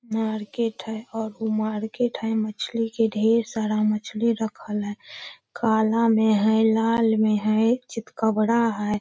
Market है और उ मार्केट है मछली के ढेर सारा मछली रखल है काला में है लाल में है चितकबरा है।